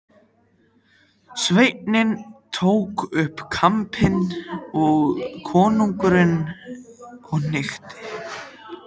Sveinninn tók upp í kampinn konunginum og hnykkti.